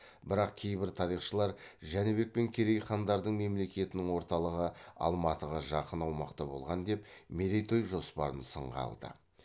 бірақ кейбір тарихшылар жәнібек пен керей хандардың мемлекетінің орталығы алматыға жақын аумақта болған деп мерейтой жоспарын сынға алды